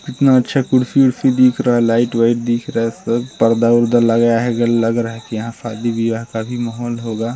इतना अच्छा खुर्सी-वुरसी दिख रहा है लाइट -वाइट दिख रहा है सब पार्द-वरदा लगाया हेगा लग रहा है की यहाँ शादी बियाह का भी माहौल होगा।